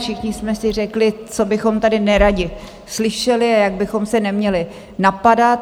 Všichni jsme si řekli, co bychom tady neradi slyšeli a jak bychom se neměli napadat.